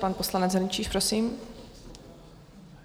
Pan poslanec Hrnčíř, prosím.